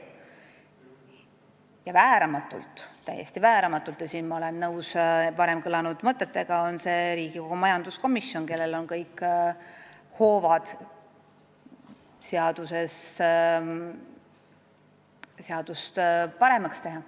Ja täiesti vääramatult – ma olen nõus siin varem kõlanud mõtetega – on selleks kohaks ka Riigikogu majanduskomisjon, kellel on kõik hoovad seaduse paremaks tegemiseks.